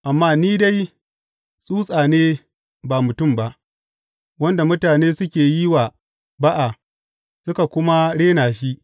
Amma ni dai tsutsa ne ba mutum ba, wanda mutane suke yi wa ba’a suka kuma rena shi.